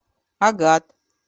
агат